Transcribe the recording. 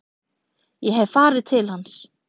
Ég hef farið til hans.